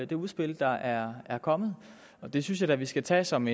det udspil der er er kommet det synes jeg da vi skal tage som